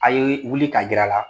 A ye wuli ka gɛrɛ a la